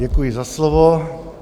Děkuji za slovo.